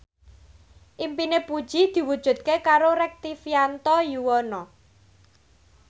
impine Puji diwujudke karo Rektivianto Yoewono